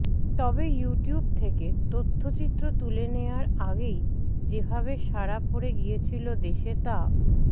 তবে ইউটিউব থেকে তথ্যচিত্র তুলে নেওয়ার আগেই যেভাবে সাড়া পড়ে গিয়েছিল দেশে তা